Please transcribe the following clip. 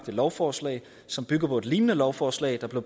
lovforslag som bygger på et lignende lovforslag der blev